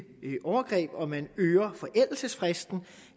overgreb og at man øger forældelsesfristen